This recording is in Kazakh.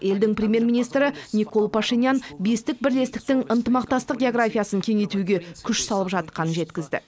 елдің премьер министрі никол пашинян бестік бірлестіктің ынтымақтастық географиясын кеңейтуге күш салып жатқанын жеткізді